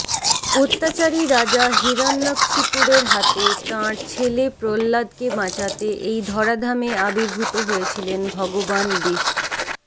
অত্যাচারি রাজা হিরণ্যকশিপুরের হাতে থেকে তাঁর ছেলে প্রল্লাদকে বাঁচাতে এই ধরাধামে আর্বিভূত হয়েছিলেন ভগবান বিষ্